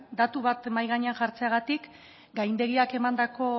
datu bat mahai gainean jartzeagatik gaindegiak emandako